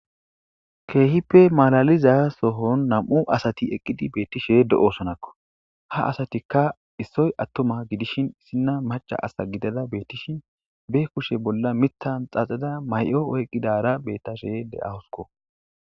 keehippe malaliza sohon nam7u asati eqqidi beettishe de7osonakko ha asatikka issoy attoma gidishin issinna macha asa gidada beettishin be kushe bolla mittan xaxeda may7o oyqqidara bettashe deahosko